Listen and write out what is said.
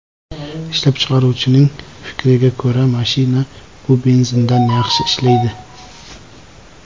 Ishlab chiqaruvchining fikriga ko‘ra, mashina bu benzindan yaxshi ishlaydi.